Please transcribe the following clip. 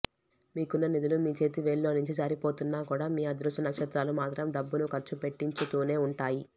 మీకున్న నిధులు మీ చేతి వ్రేళ్ళలోంచి జారిపోతున్నా కూడా మీ అదృష్ట నక్షత్రాలు మాత్రం డబ్బును ఖర్చు పెట్టించుతూనే ఉంటాయి